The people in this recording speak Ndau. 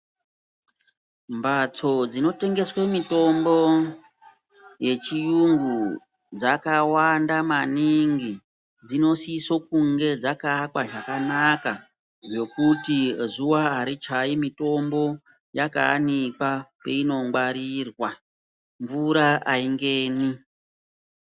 Mbatso dzinotengeswe mitombo yechiyungu dzakawanda maningi dzinosiso kunge dzakaakwa zvakanaka. Zvokuti zuva harichai mitombo yakaanikwa painongwarirwa mvura haingeni.